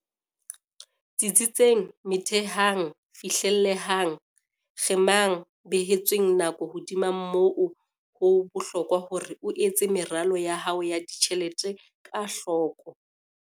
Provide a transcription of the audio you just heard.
Tsitsitseng Methehang Fihlellehang Kgemang Behetsweng Nako Hodima moo, ho bohlokwa hore o etse meralo ya hao ya ditjhelete ka hloko.